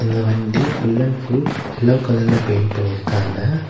இந்த வண்டி full and full yellow கலர்ல பெயிண்ட் பண்ணிருக்காங்க.